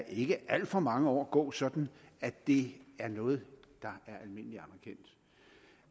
ikke alt for mange år gå sådan at det er noget der